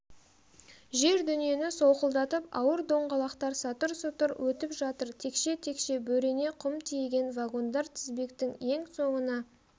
жер-дүниені солқылдатып ауыр доңғалақтар сатыр-сұтыр өтіп жатыр текше-текше бөрене құм тиеген вагондар тізбектің ең соңына